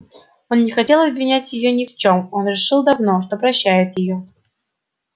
он не хотел обвинять её ни в чем он решил давно что прощает её